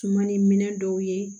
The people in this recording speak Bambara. Sumani minɛ dɔw ye